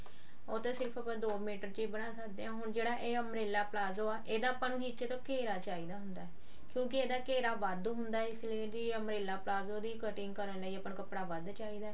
ਉਹ ਤਾਂ ਸਿਰਫ ਆਪਾਂ ਦੋ ਮੀਟਰ ਚ ਹੀ ਬਣਾ ਸਕਦੇ ਹਾਂ ਹੁਣ ਜਿਹੜਾ ਇਹ ਉਮ੍ਰੇਲ੍ਲਾ ਪਲਾਜ਼ੋ ਆ ਇਹਦਾ ਆਪਾਂ ਨੂੰ ਨੀਚੇ ਤੋਂ ਘੇਰਾ ਚਾਹਿਦਾ ਹੁੰਦਾ ਕਿਉਂਕਿ ਇਹਦਾ ਘੇਰਾ ਵੱਢ ਹੁੰਦਾ ਆ ਤੇ ਇਹਦੀ umbrella ਪਲਾਜ਼ੋ ਦੀ cutting ਕਰਨ ਲਈ ਆਪਾਂ ਨੂੰ ਕੱਪੜਾ ਵੱਧ ਚਾਹੀਦਾ